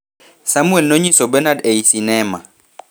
Samwel nonyiso Benard ei sinema